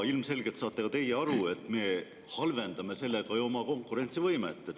Ilmselgelt saate ka teie aru, et me ju halvendame sellega oma konkurentsivõimet.